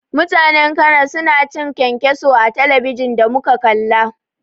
Mutanen cana suna cin kyankyaso a talabijin da muka kalla.